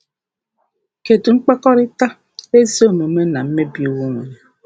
Kedụ mkpakọrịta um ezi omume na mmebi iwu nwere?